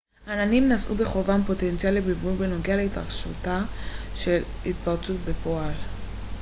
העננים נשאו בחובם פוטנציאל לבלבול בנוגע להתרחשותה של התפרצות בפועל